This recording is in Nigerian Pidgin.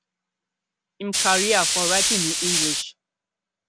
im career for writing in english